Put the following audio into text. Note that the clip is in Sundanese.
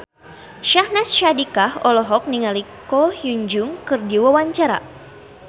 Syahnaz Sadiqah olohok ningali Ko Hyun Jung keur diwawancara